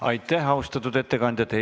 Aitäh, austatud ettekandja!